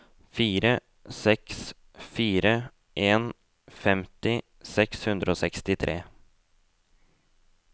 fire seks fire en femti seks hundre og sekstitre